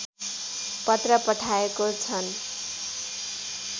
पत्र पठाएको छन्